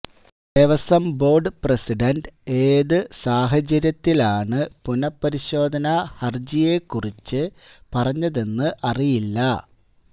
Devaswom board president ഏതു സാഹചര്യത്തിലാണ പുനഃപരിശോധന ഹരജിയെ കുറിച്ച് പറഞ്ഞതെന്ന് അറിയില്ല